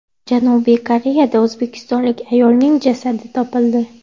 Janubiy Koreyada o‘zbekistonlik ayolning jasadi topildi.